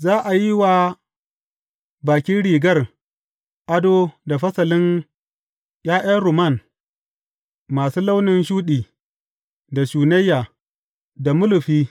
Za a yi wa bakin rigar ado da fasalin ’ya’yan rumman masu launin shuɗi, da shunayya, da mulufi.